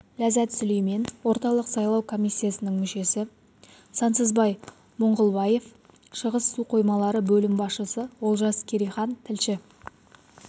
ләззат сүлеймен орталық сайлау комиссиясының мүшесі сансызбай мұңғылбаев шығыс су қоймалары бөлім басшысы олжас керейхан тілші